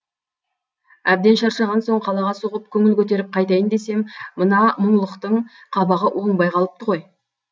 әбден шаршаған соң қалаға соғып көңіл көтеріп қайтайын десем мына мұңлықтың қабағы оңбай қалыпты ғой